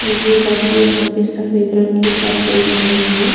ये बच्चे यहाँ पे सफेद रंग के कपड़े पहने हैं।